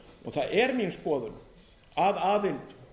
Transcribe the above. það er mín skoðun að aðild